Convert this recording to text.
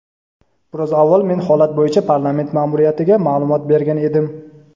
Biroz avval men holat bo‘yicha parlament ma’muriyatiga ma’lumot bergan edim.